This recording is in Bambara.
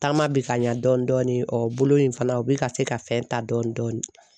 Taama bɛ ka ɲɛ dɔɔni dɔɔni, ɔ bolo in fana u bɛ ka se ka fɛn ta dɔɔni dɔɔni.